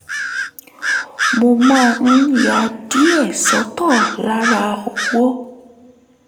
mo máa ń ya díẹ̀ sọ́tọ̀ lára owó